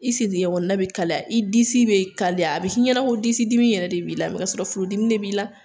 I sentɛgɛ kɔnɔna bɛ kalaya i disi bɛ kalaya a bɛ k'i ɲɛna ko disidimi yɛrɛ de b'i la kasɔrɔ furudimi de b'i la